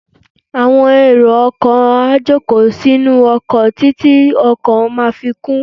Àwọn èrò ọkọ̀ á jòkó sínú ọkọ̀ títí ọkọ̀ máa fi kún.